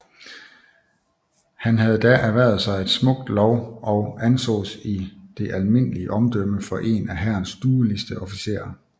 Han havde da erhvervet sig et smukt lov og ansås i det almindelige omdømme for en af Hærens dueligste officerer